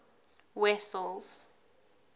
wessels